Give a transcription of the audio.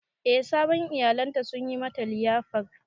Eh sabon iyalan ta sun yi mata liyafar.